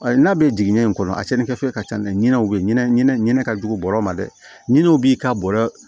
Ayi n'a bɛ jigin ɲɛ in kɔnɔ a cɛnni kɛ fɛn ka ca ɲinɛ u bɛ ɲinɛ ɲinɛ ɲinɛ ka jugu bɔrɔ ma dɛ ɲinɛw b'i ka bɔrɔ